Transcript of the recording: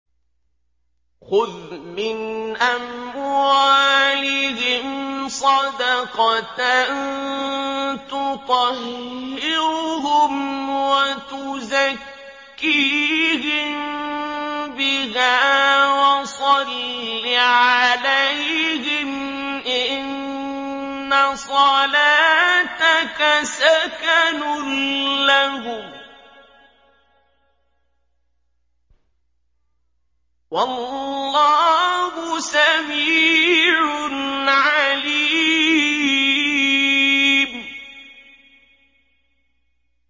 خُذْ مِنْ أَمْوَالِهِمْ صَدَقَةً تُطَهِّرُهُمْ وَتُزَكِّيهِم بِهَا وَصَلِّ عَلَيْهِمْ ۖ إِنَّ صَلَاتَكَ سَكَنٌ لَّهُمْ ۗ وَاللَّهُ سَمِيعٌ عَلِيمٌ